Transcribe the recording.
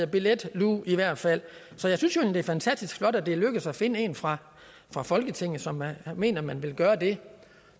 billetluge i hvert fald så jeg synes det er fantastisk flot at det er lykkedes at finde en fra fra folketinget som mener man vil gøre det